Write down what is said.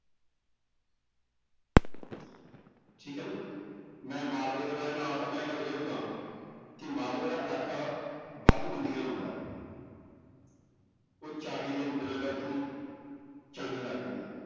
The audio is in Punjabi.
ਠੀਕ ਹੈ ਨਾ ਮੈਂ ਮਾਲਵੇ ਜਿਹੜੇ ਹਾਲਾਤ ਮੈਂ ਇਹ ਗੱਲ ਵੇਖਦਾਂ ਕਿ ਮਾਲਵੇ ਦਾ ਇਲਾਕਾ ਵੱਧ ਬਿੰਦੀਆਂ ਲਾਉਂਦਾ ਹੈ ਉਹ ਚਾਹੀਦੇ ਨੂੰ ਬਿਨਾਂ ਗੱਲ ਤੋਂ ਹੀ ਚਾਹੀਂਦਾ ਕਹਿੰਦਾ